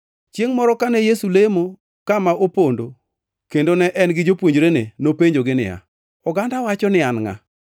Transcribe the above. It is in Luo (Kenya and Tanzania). Chiengʼ moro kane Yesu lemo kama opondo kendo ne en gi jopuonjrene, nopenjogi niya, “Oganda wacho ni An ngʼa?”